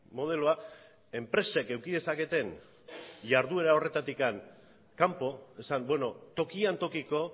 modeloa enpresek eduki dezaketen jarduera horretatik kanpo esan tokian tokiko